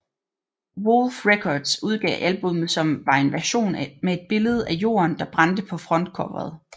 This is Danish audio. Woolfe Records udgav albummet som var en version med et billede af jorden der brændte på frontcoveret